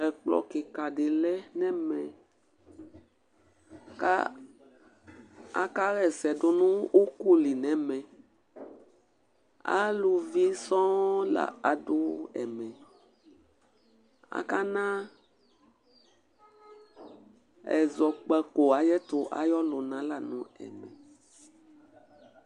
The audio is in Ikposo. Ɛkplɔ kɩka ɖɩ lɛ nɛmɛ ka akaɣɛ sɛ ɖu nu uku lɩ nɛmɛ Aluvɩ sõ la aɖu ɛmɛ Aka na ɛzɔkpaku ayɛtu ayɔ luna la nu ɛmɛ